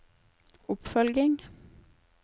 oppfølging